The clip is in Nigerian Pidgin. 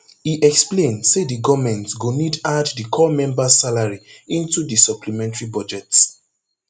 e explain say di goment go need add di corps members salary into di supplementary budget